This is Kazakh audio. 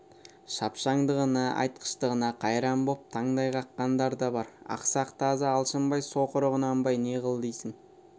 шапшаңдығына айтқыштығына қайран боп таңдай қаққандар да бар ақсақ тазы алшынбай соқыры құнанбай не қыл дейсің